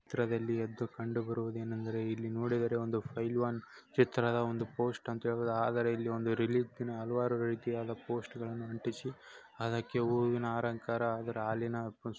ಈ ಚಿತ್ರದಲ್ಲಿ ಕಂಡುಬರುವುದು ಏನೆಂದರೆ ಇಲ್ಲಿ ನೋಡಿರುವ ಒಂದು ಪೈಲ್ವಾನ್ ಚಿತ್ರದ ಒಂದು ಪೋಸ್ಟ್ ಅಂತ ಹೇಳ್ಬೋದು ಆದರೆ ಇಲ್ಲಿ ಒಂದು ರಿಲೀಸ್ ದಿನ ಹಲವಾರು ರೀತಿಯಾದ ಪೋಸ್ಟ್ಗಳನು ಅಂಟಿಸಿ ಅದ್ಕಕೆ ಹೂವಿನ ಅರಂಕಾರ ಹಾಲಿನ.